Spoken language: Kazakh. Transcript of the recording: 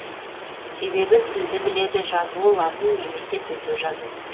себебі тілді біледі жазуы латын немесе төте жазу